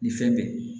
Nin fɛn bɛ